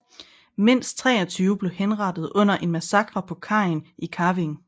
Mindst 23 blev henrettet under en massakre på kajen i Kavieng